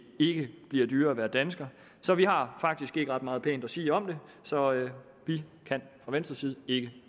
ikke bliver dyrere at være dansker så vi har faktisk ikke ret meget pænt at sige om det så vi kan fra venstres side ikke